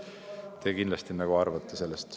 Te kindlasti arvate sellest ...